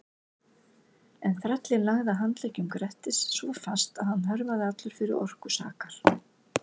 En þrællinn lagði að handleggjum Grettis svo fast að hann hörfaði allur fyrir orku sakar.